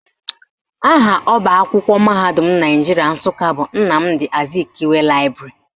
Aha ọbaakwụkwọ mahadum Naijiria Nsụka bụ Nnamdi Azikiwe Laịbrarị